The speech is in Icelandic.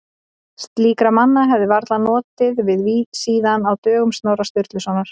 Slíkra manna hefði varla notið við síðan á dögum Snorra Sturlusonar.